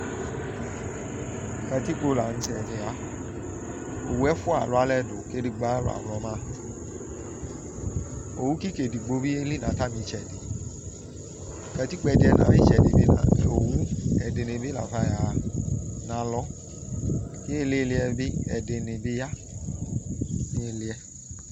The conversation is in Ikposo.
katikpo lanʊ tɛ owʊ ɛfʊa alʊ alɛ dʊ kʊ edɩgbo ayʊ alɔ yɛ awlɔma owʊ kɩkadɩ edɩgbo yelɩ nʊ atamɩɛtʊ katɩkpo ɛdɩ yɛ nʊ atamɩetʊ ɛdɩnɩ bɩ lafa ayaxa nʊ alɔ ɩlɩlɩ yɛbɩ ɛdɩnɩ bɩ ya nʊ ɩlɩ yɛ